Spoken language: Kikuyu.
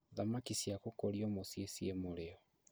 Thamaki cia gũkũrio mũciĩ ciĩ mũrĩo